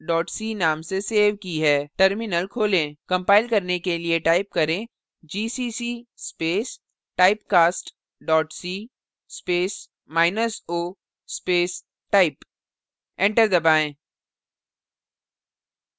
compile करने के लिए type करें gcc space typecast dot c space minus o space type enter दबाएँ